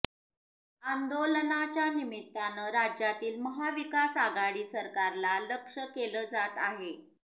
आंदोलनाच्या निमित्तानं राज्यातील महाविकास आघाडी सरकारला लक्ष्य केलं जात आहे